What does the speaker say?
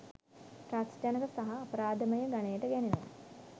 ත්‍රාසජනක සහ අපරාධමය ගණයට ගැනෙනවා